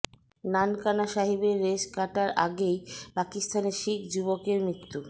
নানকানা সাহিবের রেশ কাটার আগেই পাকিস্তানে শিখ যুবকের মৃত্যু